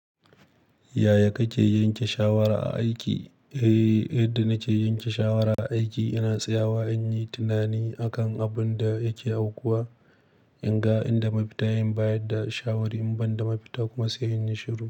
Yaya kake yanke shawara a aiki? Eh, yadda na ke yanke shawara a aiki, ina tsayawa in yi tunani akan abin da yake aukuwa, in ga inda mafita, in bayar da shawara in ban da mafita kuma sai in yi shiru.